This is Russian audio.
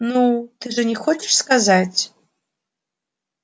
ну ты же не хочешь сказать